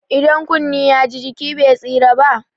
Idan kunne ya ji, jiki be tsira ba?